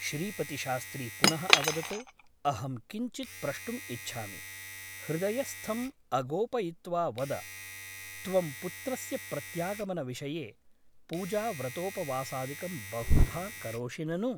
श्रीपतिशास्त्री पुनः अवदत् अहं किञ्चित् प्रष्टुम् इच्छामि । हृदयस्थम् अगोपयित्वा वद । त्वं पुत्रस्य प्रत्यागमनविषये पूजाव्रतोपवासादिकं बहुधा करोषि ननु ?